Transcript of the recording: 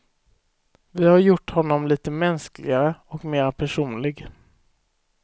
Vi har gjort honom lite mänskligare och mera personlig.